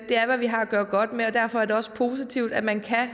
er hvad vi har at gøre godt med og derfor er det også positivt at man